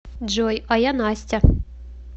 джой а я настя